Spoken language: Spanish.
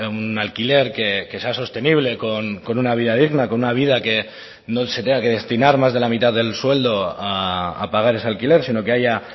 un alquiler que sea sostenible con una vida digna con una vida que no se tenga que destinar más de la mitad del sueldo a pagar ese alquiler sino que haya